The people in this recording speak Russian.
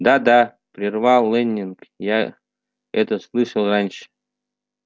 да да прервал лэннинг я это слышал раньше